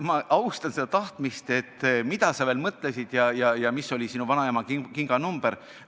Ma austan seda teadatahtmist, et mida sa veel mõtlesid ja mis oli sinu vanaema kinganumber.